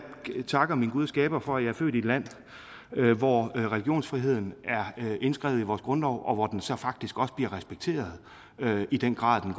takker min gud og skaber for at jeg er født i et land hvor religionsfriheden er indskrevet i vores grundlov og hvor den så faktisk også bliver respekteret i den grad den